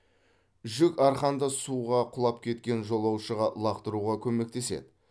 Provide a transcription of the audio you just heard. жүк арқанды суға құлап кеткен жолаушыға лақтыруға көмектеседі